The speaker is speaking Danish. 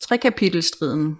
trekapitelstriden